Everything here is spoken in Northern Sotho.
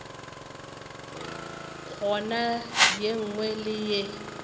goba ye nngwe le ye